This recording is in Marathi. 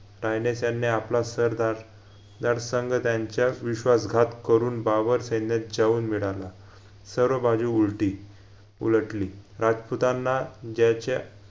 टायनेस्यांनी आपला सरदार दरसंगत्यांच्या विश्वासघात करून बाबर सैन्यात जाऊन मिडाला सर्व बाजू उलटी उलटली, राजपुतांना ज्याच्या